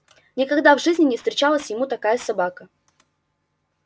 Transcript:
никогда в жизни не встречалась ему такая собака